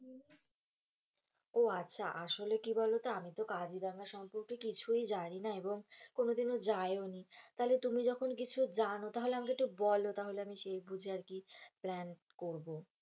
ও আচ্ছা আসলে কি বোলো তো, আমি তো কাজিরাঙা সম্পর্কে কিছুই জানি না এবং কোনো দিনও যাইও নি তাহলে তুমি যখন কিছু জন্য তাহলে আমাকে একটু বোলো তাহলে আমি সেই বুঝে আরকি প্ল্যান করবো,